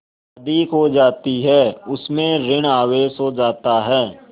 अधिक हो जाती है उसमें ॠण आवेश हो जाता है